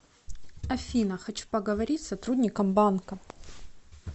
афина хочу поговорить с сотрудником банка